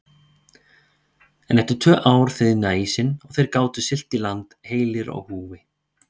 En eftir tvö ár þiðnaði ísinn og þeir gátu siglt í land heilir á húfi.